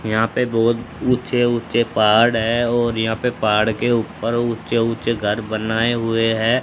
यहां पे बहुत ऊंचे ऊंचे पहाड़ है और यहां पे पहाड़ के ऊपर ऊंचे ऊंचे घर बनाए हुए हैं।